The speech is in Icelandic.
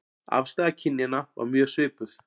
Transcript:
Afstaða kynjanna var mjög svipuð